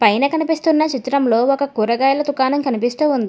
పైన కనిపిస్తున్న చిత్రంలో ఒక కూరగాయల దుకాణం కనిపిస్తూ ఉంది.